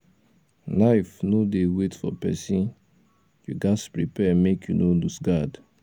life no dey wait for pesin you ghas prepare make you no loose guard